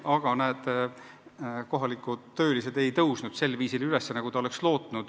Aga kohalikud töölised ei tõusnud sel viisil üles, nagu ta lootis.